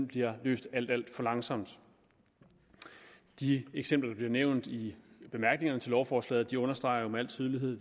bliver løst alt alt for langsomt de eksempler der bliver nævnt i bemærkningerne til lovforslaget understreger jo med al tydelighed